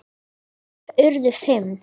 Þeir urðu fimm.